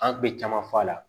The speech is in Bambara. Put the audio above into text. An kun bɛ caman f'a la